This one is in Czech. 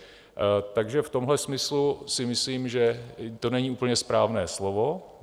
Takže v tomhle smyslu si myslím, že to není úplně správné slovo.